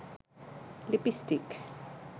lipstick